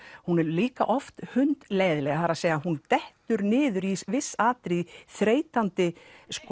hún er líka oft hundleiðinleg það er að hún dettur niður í viss atriði þreytandi